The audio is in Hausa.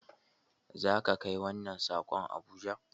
Za ka kai wannan sakon Abuja!